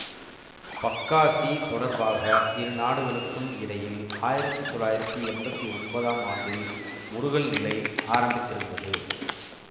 பக்காசி தொடர்பாக இரு நாடுகளுக்கும் இடையில் ஆயிரத்தி தொள்ளாயிரத்தி எம்பத்தி ஒன்பதாம் ஆண்டில் முறுகல் நிலை ஆரம்பித்திருந்தது